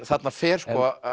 þarna fer